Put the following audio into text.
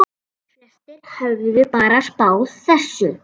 Flestir höfðu bara spáð þessu.